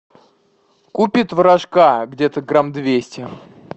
купи творожка где то грамм двести